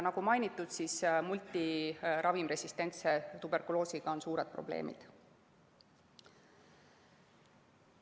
Nagu mainitud, multiravimresistentse tuberkuloosiga on suured probleemid.